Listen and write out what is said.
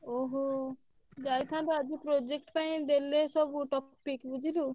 ଓହୋ। ଯାଇଥାନ୍ତୁ ଆଜି project ପାଇଁ ଦେଲେ ସବୁ topic ବୁଝିଲୁ।